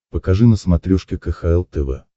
покажи на смотрешке кхл тв